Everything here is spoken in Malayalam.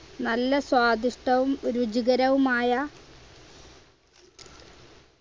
നല്ല സ്വാദിഷ്ടവും രുചികരവുമായ